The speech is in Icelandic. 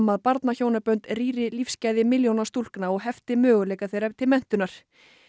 að barnahjónabönd rýri lífsgæði milljóna stúlkna og hefti möguleika þeirra til menntunar